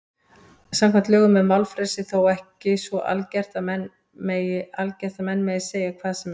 Samkvæmt lögum er málfrelsi þó ekki svo algert að menn megi segja hvað sem er.